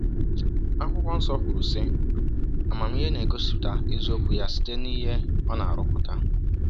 Akwụkwọ Nsọ kwuru, sị: ‘Amamihe na-egosipụta eziokwu ya site n’ihe ọ na-arụpụta.